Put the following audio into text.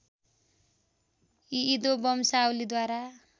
इदो वंशावलीद्वारा